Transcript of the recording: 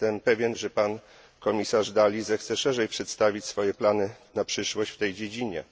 Jestem pewien, że komisarz Dalli zechce szerzej przedstawić swoje plany na przyszłość w tej dziedzinie.